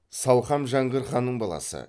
салқам жәңгір ханның баласы